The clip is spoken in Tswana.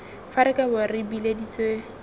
fa re kabo re bileditswe